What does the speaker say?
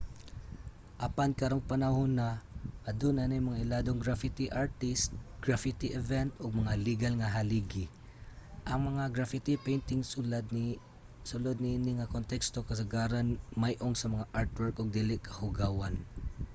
apan karong panahona aduna nay mga iladong graffiti artist graffiti event ug mga ligal nga haligi. ang mga graffiti painting sulod niini nga konteksto kasagarang may-ong sa mga artwork ug dili kahugawan